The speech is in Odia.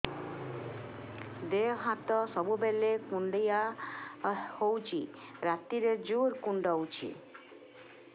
ଦେହ ହାତ ସବୁବେଳେ କୁଣ୍ଡିଆ ହଉଚି ରାତିରେ ଜୁର୍ କୁଣ୍ଡଉଚି